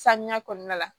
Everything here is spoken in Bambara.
Sanuya kɔnɔna la